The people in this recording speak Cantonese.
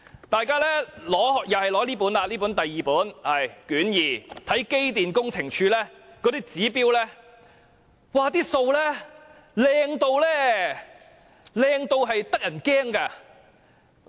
大家打開卷二，看看機電工程署的指標，他們的數字很漂亮，漂亮得令人感到可怕。